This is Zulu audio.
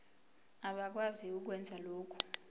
abakwazi ukwenza lokhu